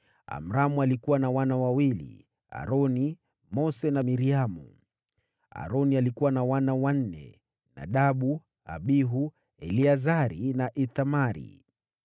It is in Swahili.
Amramu alikuwa na wana: Aroni, Mose, na Miriamu. Aroni alikuwa na wana: Nadabu, Abihu, Eleazari na Ithamari.